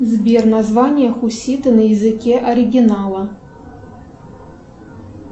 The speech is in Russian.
сбер название хусита на языке оригинала